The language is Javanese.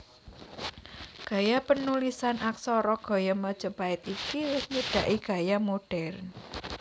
Gaya panulisan aksara gaya Majapait iki wis nyedhaki gaya modhèrn